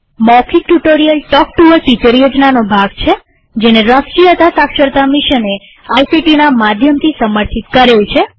મૌખિક tutorial talk to a teacher યોજનાનો ભાગ છેજેને રાષ્ટ્રીય સાક્ષરતા મિશને આઇસીટી ના માધ્યમથી સમર્થિત કરેલ છે